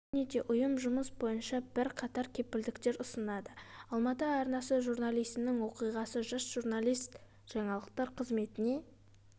және де ұйым жұмыс бойынша бірқатар кепілдікктер ұсынады алматы арнасы журналисінің оқиғасы жас журналист жаңалықтар қызметіне